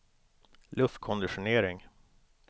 luftkonditionering